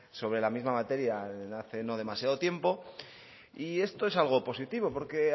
sobre la misma materia hace no demasiado tiempo y esto es algo positivo porque